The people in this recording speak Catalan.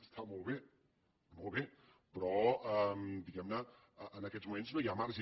està molt bé molt bé però diguem ne en aquests moments no hi ha marge